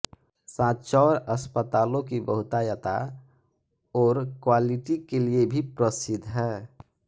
सांचौर अस्पतालों की बहुतायता ओर क्वालिटी के लिए भी प्रसिद्ध है